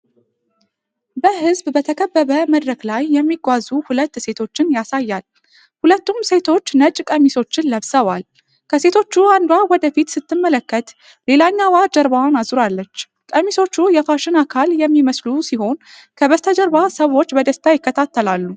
በሕዝብ በተከበበ መድረክ ላይ የሚጓዙ ሁለት ሴቶችን ያሳያል። ሁለቱም ሴቶች ነጭ ቀሚሶችን ለብሰዋል፤ ከሴቶቹ አንዷ ወደ ፊት ስትመለከት ሌላኛዋ ጀርባዋን አዙራለች። ቀሚሶቹ የፋሽን አካል የሚመስሉ ሲሆን ከበስተጀርባ ሰዎች በደስታ ይከታተላሉ።